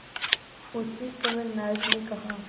उसी समय नायक ने कहा